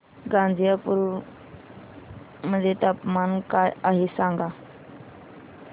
गाझीपुर मध्ये तापमान काय आहे सांगा